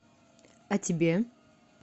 а тебе